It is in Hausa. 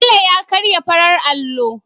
Bello ya karya farar allo